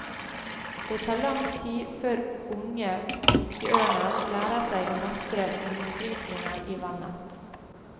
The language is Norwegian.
Det tar lang tid før unge fiskeørner lærer seg å mestre lysbrytningen i vannet.